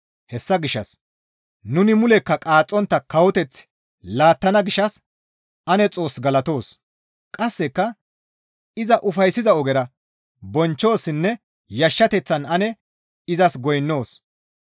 Hessa gishshas nuni mulekka qaaxxontta kawoteth laattana gishshas ane Xoos galatoos; qasseka iza ufayssiza ogera bonchchoossinne yashshateththan ane izas goynnoos.